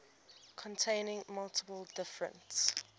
containing multiple different